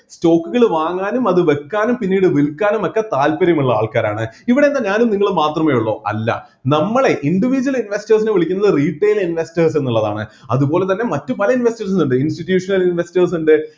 stock കള് വാങ്ങാനും അത് വെക്കാനും പിന്നീട് വിൽക്കാനും ഒക്കെ താൽപ്പര്യം ഉള്ള ആൾക്കാരാണ് ഇവിടെ എന്താ ഞാനും നിങ്ങളും മാത്രമേ ഉള്ളു അല്ല നമ്മളെ individual investors നെ വിളിക്കുന്നത് retail investors എന്നുള്ളതാണ് അതുപോലെതന്നെ മറ്റു പല investors ഇണ്ട് institutional investors ഇണ്ട്